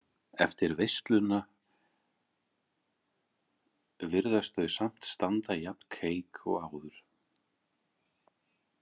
Eftir veisluna virðaust þau samt standa jafn keik og áður.